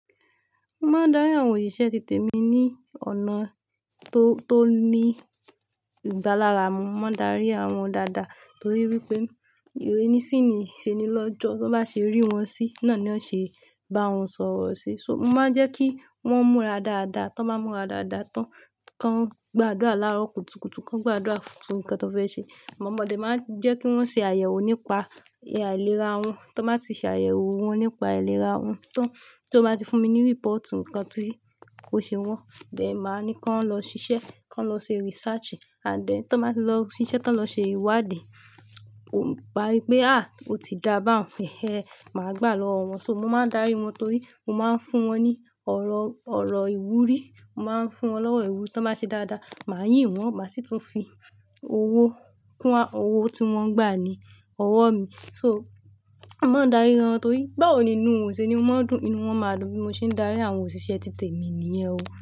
Mo máa ń darí àwọn òṣìṣẹ́ títè mi ní ọ̀nà tó, tó ní ìgbálárà mú. Mo máa ń darí àwọn dáadáa torí wípé ìrínisí ni ìṣe ni lọ́jọ̀ Tí wọ́n bá ṣe rí wọn sí, náà ni wọ́n ṣe bá wọn sọ̀rọ̀ sí. So mo máa ń jẹ́ kí wọ́n múra dáadáa. Tí wọ́n bá múra dáadáa tán, kí wọ́n gbàdúrà lára okùtukùtù, kí wọ́n gbàdúrà fún nnkan tí wọ́n fẹ́ ṣe. Àmọ́ mo máa ń jẹ́ kí wọ́n ṣe àyẹ̀wò nípa ìlera wọn. Tí wọ́n bá ti ṣe àyẹ̀wò wọn nípa ìlera wọn tán, tí wọ́n bá ti fún mi ní report nǹkan tí kò ṣe wọ́n, bẹ́ẹ̀ ni màá ní kí wọ́n lọ ṣiṣẹ́, kí wọ́n lọ ṣe research. Àdẹ̀ tí wọ́n bá ti lọ ṣiṣẹ́, tí wọ́n bá ṣe ìwádìí, mo bá wípé "à o ti dá bá wọn heh ẹ", màá gbà lọ́wọ́ wọn. So mo máa ń darí wọn torí mo máa ń fún wọn ní ọ̀rọ̀ ọ̀rọ̀ ìwúrí, mo máa ń fún wọn lọ́rọ̀ ìwú. Tí wọ́n bá ṣe dáadáa, màá yìn wọ́n, màá sì tún fi owó kún a, owó tí wọ́n gbà ni ọwọ́ mi. So mo máa ń darí wọn torí báwo nínú wọn òṣe ni mán dùn, nínú wọ́n máa dùn bí mo ṣe ń darí àwọn òṣìṣẹ́ títè mi nìyẹn o.